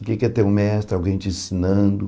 O que é que é ter um mestre, alguém te ensinando?